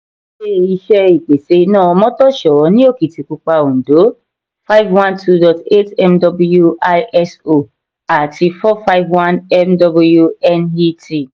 ilé-iṣé ìpèsè iná omotosho ní okitipupa òndó five one two dot eight mw iso àti four five one mw net.